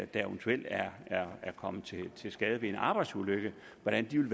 der eventuelt er er kommet til skade ved en arbejdsulykke hvordan vil